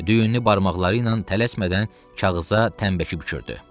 Düyünlü barmaqları ilə tələsmədən kağıza tənnbəki bükürdü.